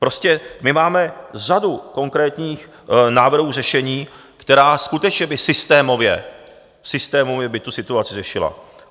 Prostě my máme řadu konkrétních návrhů řešení, která skutečně by systémově tu situaci řešila.